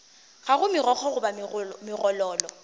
ga go megokgo goba megololo